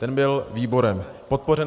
Ten byl výborem podpořen.